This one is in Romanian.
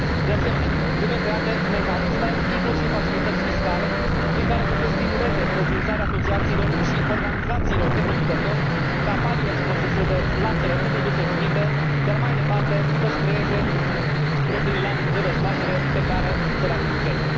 De asemenea, trebuie create mecanisme, inclusiv facilități fiscale, prin care să se stimuleze înființarea asociațiilor și organizațiilor de producători capabile să proceseze lapte în produse finite, iar mai departe să și creeze propriile lanțuri de desfacere pe care să le administreze.